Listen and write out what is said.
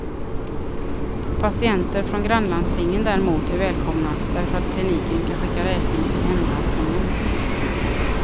Patienter från grannlandstingen däremot är välkomna, därför att kliniken kan skicka räkning till hemlandstingen.